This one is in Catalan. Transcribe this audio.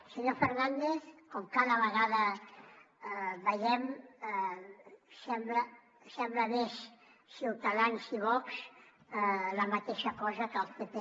senyor fernández com cada vegada veiem semblen més ciutadans i vox la mateixa cosa que el pp